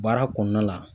Baara kɔnɔna la